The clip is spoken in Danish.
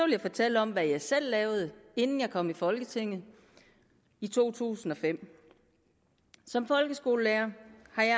jeg fortælle om hvad jeg selv lavede inden jeg kom i folketinget i to tusind og fem som folkeskolelærer